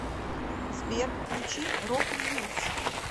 сбер включи рок ньюс